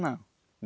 Não.